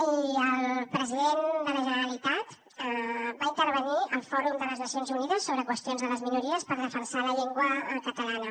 i el president de la generalitat va intervenir al fòrum de les nacions unides sobre qüestions de les minories per defensar la llengua catalana